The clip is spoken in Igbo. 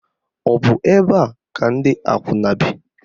Ọ bụ ebe a ka ndị akwụna bi?